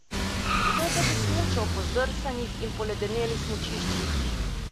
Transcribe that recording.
Kdo pa bi smučal po zdrsanih in poledenelih smučiščih?